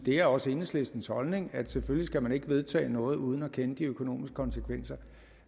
er også enhedslistens holdning at selvfølgelig skal man ikke vedtage noget uden at kende de økonomiske konsekvenser